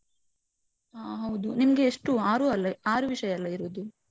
ಹಾ ಹೌದು. ನಿಮ್ಗೆ ಎಷ್ಟು ಆರು ಅಲ್ಲ ಆರು ವಿಷಯ ಅಲ್ಲ ಇರುದು?